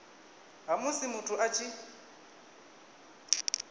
ha musi muthu a tshi